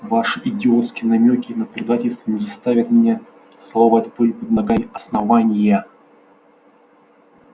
ваши идиотские намёки на предательство не заставят меня целовать пыль под ногами основания